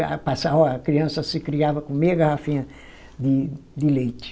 Para passar, ó a criança se criava com meia garrafinha de de leite.